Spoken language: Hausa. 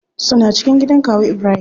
Suna cikin gidan kawu ibrahim.